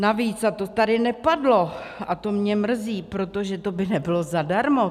Navíc, a to tady nepadlo a to mě mrzí, protože to by nebylo zadarmo.